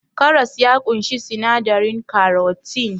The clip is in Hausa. Karas ya ƙunshi sinadarin karotin